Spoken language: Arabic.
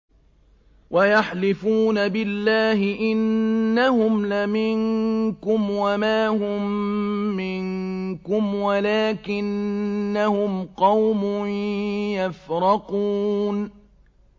وَيَحْلِفُونَ بِاللَّهِ إِنَّهُمْ لَمِنكُمْ وَمَا هُم مِّنكُمْ وَلَٰكِنَّهُمْ قَوْمٌ يَفْرَقُونَ